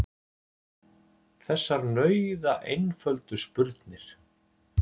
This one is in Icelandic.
Þessar nauðaeinföldu spurnir.